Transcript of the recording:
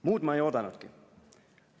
"Muud ma ei oodanudki.